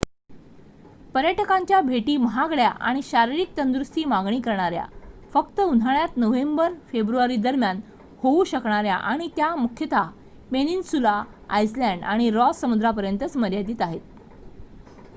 पर्यटकांच्या भेटी महागड्या आणि शारीरिक तंदुरुस्तीची मागणी करणाऱ्या फक्त उन्हाळ्यात नोव्हेंबर-फेब्रुवारीदरम्यान होऊ शकणाऱ्या आणि त्या मुख्यतः पेनिन्सुला आइसलँड आणि रॉस समुद्रापर्यंतच मर्यादीत आहेत